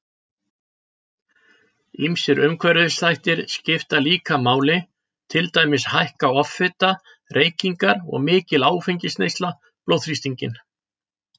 Ýmsir umhverfisþættir skipta líka máli, til dæmis hækka offita, reykingar og mikil áfengisneysla blóðþrýstinginn.